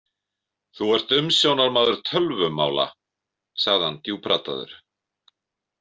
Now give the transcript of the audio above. Þú ert umsjónarmaður tölvumála, sagði hann djúpraddaður.